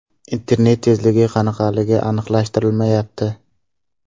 Internet tezligi qanaqaligi aniqlashtirilmayapti.